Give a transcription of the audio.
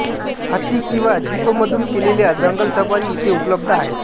हत्ती किंवा जीपमधून केलेल्या जंगल सफारी इथे उपलब्ध आहेत